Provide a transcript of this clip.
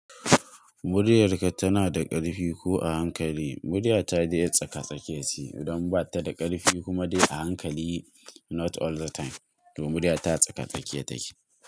Muryarka tana da ƙarfi ko a hankali? Murya ta dai tsaka-tsakiya ce, don ba ta da ƙarfi kuma dai a hankali not all the time to murya ta tsaka-tsakiya take.